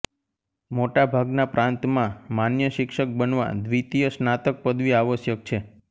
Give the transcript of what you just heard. મોટા ભાગના પ્રાંતમાં માન્ય શિક્ષક બનવા દ્વિતીય સ્નાતક પદવી આવશ્યક છે